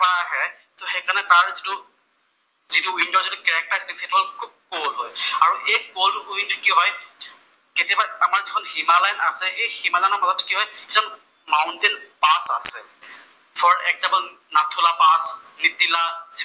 যিটো উইনন্টাৰৰ যিটো কেৰেক্তাৰ সেইটো হʼল খুউব কল্ড হয়, আৰু এই কল্ড উইণ্ড কি হয় কেতিয়াবা আমাৰ যিখন হিমালয়ান আছে সেই হিমালয়ৰ লগত কি হয় কিছুমান মাউন্টেইন পাচ আছে, for example Nathu La pass, Mitila